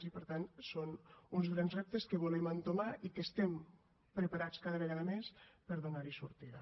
i per tant són uns grans reptes que volem entomar i que estem preparats cada vegada més per donar hi sortida